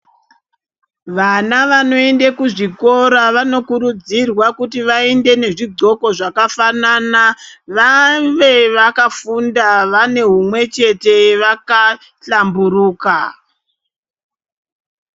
Vana vanoende kuzvikora vanokurudzirwa kuti vaende nezvigqoko zvakafanana vave vakafunda vanehumwe chete vakahlamburuka.